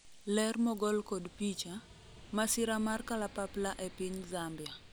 ler mogol kod picha, masira mar kalapapla e piny Zambia